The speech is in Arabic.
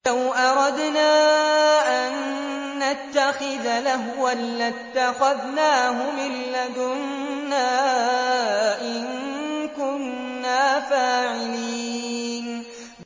لَوْ أَرَدْنَا أَن نَّتَّخِذَ لَهْوًا لَّاتَّخَذْنَاهُ مِن لَّدُنَّا إِن كُنَّا فَاعِلِينَ